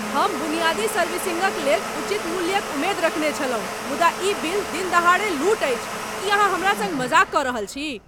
हम बुनियादी सर्विसिंगक लेल उचित मूल्यक उम्मेद रखने छलहुँ मुदा ई बिल दिनदहाड़े लूट अछि! की अहाँ हमरा सङ्ग मजाक कऽ रहल छी?